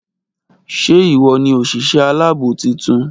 ṣé ìwọ ni òsìsé aláàbò titun?